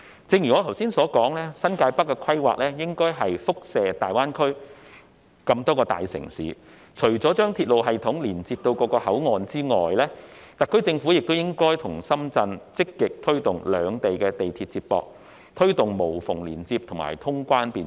正如我剛才所說，新界北的規劃應該輻射至大灣區內各大城市，除了將鐵路系統連接至各個口岸外，特區政府應與深圳積極推動兩地地鐵接駁，以實現無縫連接和通關便捷。